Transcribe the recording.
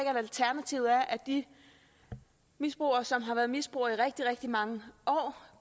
de misbrugere som har været misbrugere i rigtig rigtig mange år